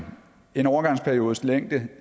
en overgangsperiodes længde